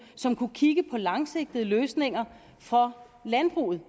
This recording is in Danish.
som kunne kigge på langsigtede løsninger for landbruget